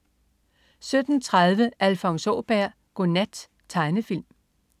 17.30 Alfons Åberg. Godnat. Tegnefilm